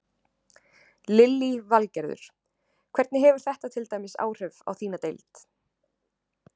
Lillý Valgerður: Hvernig hefur þetta til dæmis áhrif á þína deild?